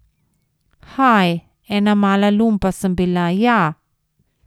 Haj, ena mala lumpa sem bila, ja.